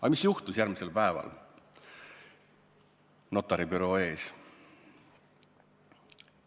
Aga mis juhtus järgmisel päeval notaribüroo ees?